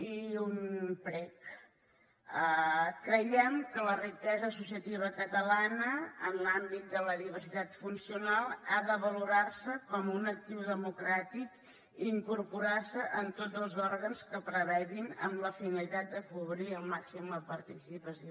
i un prec creiem que la riquesa associativa catalana en l’àmbit de la diversitat funcional ha de valorar se com un actiu democràtic i incorporar se en tots els òrgans que prevegin amb la finalitat de cobrir al màxim la participació